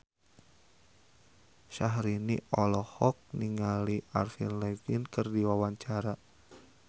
Syahrini olohok ningali Avril Lavigne keur diwawancara